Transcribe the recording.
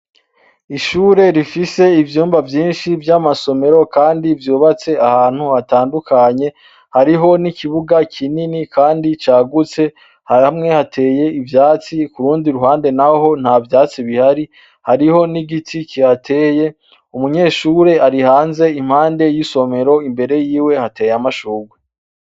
Ishure rifise ivyumba vyinshi vy'amasomero kandi vyubatse ahantu hatandukanye hariho n'ikibuga kinini kandi cagutse, hamwe hateye ivyatsi ku rundi ruhande naho nta vyatsi bihari, hariho n'igiti kihateye umunyeshure ari hanze impande y'isomero imbere yiwe hateye amashurwe.